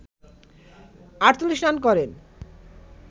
৪৮ run করেন